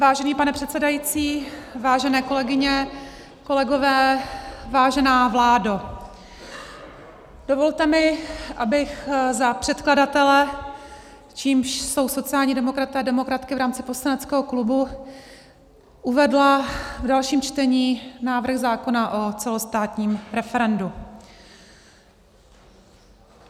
Vážený pane předsedající, vážené kolegyně, kolegové, vážená vládo, dovolte mi, abych za předkladatele, čímž jsou sociální demokraté a demokratky v rámci poslaneckého klubu, uvedla v dalším čtení návrh zákona o celostátním referendu.